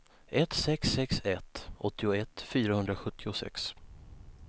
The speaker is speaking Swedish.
ett sex sex ett åttioett fyrahundrasjuttiosex